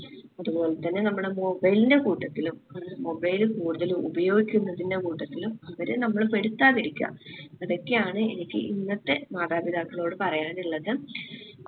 അതുപോലെതന്നെ നമ്മടെ mobile ന്റെ കൂട്ടത്തിലും mobile കൂടുതല് ഉപയോഗിക്കുന്നതിന്റെ കൂട്ടത്തിലും അവരെ നമ്മൾ പെടുത്താതിരിക്ക. ഇതൊക്കെയാണ് എനിക്ക് ഇന്നത്തെ മാതാപിതാക്കളോട് പറയാനിള്ളത്